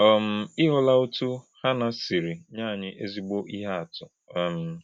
um Ị hụla otú Hannạ siri nye anyị ezigbo ihe atụ? um